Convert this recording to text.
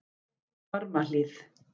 Barmahlíð